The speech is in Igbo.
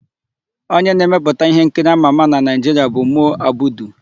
Onye na-emepụta íhénkiri ámà ámà na Naịjiria bụ Mo Abudu.